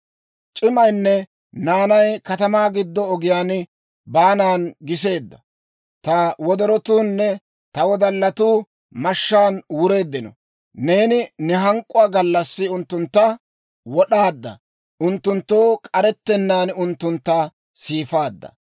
C'imaynne naanay katamaa giddo ogiyaa baanan giseedda; ta wodorotuunne ta wodallatuu mashshaan wureeddino. Neeni ne hank'k'uwaa gallassi unttuntta wod'aadda; unttunttoo k'arettennaan unttuntta siifaadda.